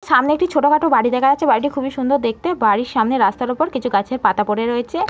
সামনে একটি ছোটখাটো বাড়ি দেখা যাচ্ছে বাড়িটি খুবই সুন্দর দেখতে। বাড়ির সামনে রাস্তার ওপর কিছু গাছের পাতা পড়ে রয়েছে।